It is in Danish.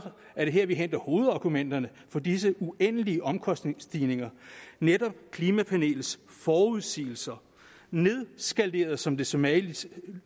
er det her vi henter hovedargumenterne for disse uendelige omkostningsstigninger netop i klimapanelets forudsigelser nedskaleret som det så mageligt